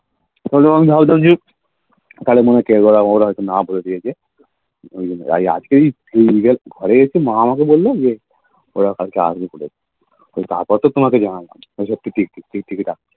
তাহলে মনে করো ওরা হচ্ছে না বলে দিয়েছে ঘরে গেছি মা আমাকে বলল ওরা আসবে বলে তারপর তো তোমাকে জানালাম